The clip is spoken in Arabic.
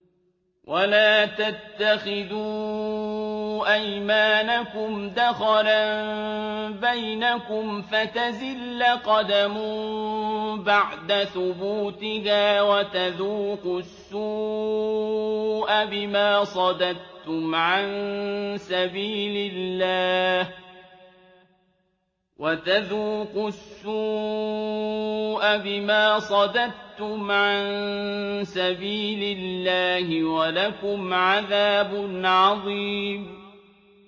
وَلَا تَتَّخِذُوا أَيْمَانَكُمْ دَخَلًا بَيْنَكُمْ فَتَزِلَّ قَدَمٌ بَعْدَ ثُبُوتِهَا وَتَذُوقُوا السُّوءَ بِمَا صَدَدتُّمْ عَن سَبِيلِ اللَّهِ ۖ وَلَكُمْ عَذَابٌ عَظِيمٌ